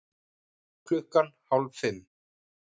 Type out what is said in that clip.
Klukkan hálf fimm